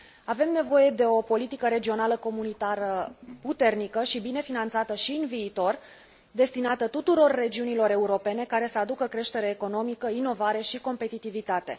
Avem nevoie de o politică regională comunitară puternică și bine finanțată și în viitor, destinată tuturor regiunilor europene, care să aducă creștere economică, inovare și competitivitate.